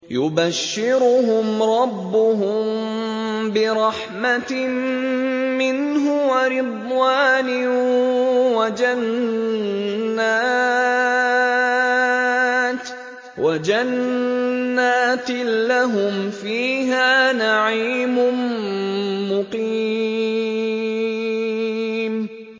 يُبَشِّرُهُمْ رَبُّهُم بِرَحْمَةٍ مِّنْهُ وَرِضْوَانٍ وَجَنَّاتٍ لَّهُمْ فِيهَا نَعِيمٌ مُّقِيمٌ